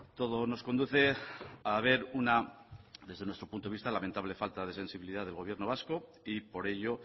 todo nos conduce a ver una desde nuestro punto de vista lamentable falta de sensibilidad del gobierno vasco y por ello